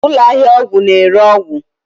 Ụlọ ahịa ọgwụ na-ere ọgwụ